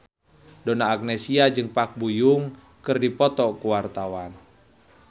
Donna Agnesia jeung Park Bo Yung keur dipoto ku wartawan